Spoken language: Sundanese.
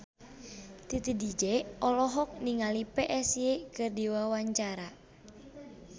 Titi DJ olohok ningali Psy keur diwawancara